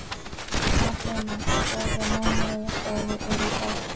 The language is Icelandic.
Atena, hvaða mánaðardagur er í dag?